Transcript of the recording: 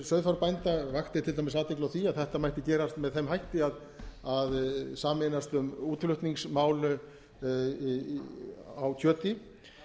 landssamband sauðfjárbænda vakti til dæmis athygli á því að þetta mætti gera allt með þeim hætti að sameinast um útflutningsmál á kjöti